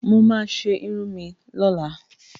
Mo máa ṣe irun mi lọ́la